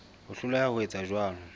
ho hloleha ho etsa jwalo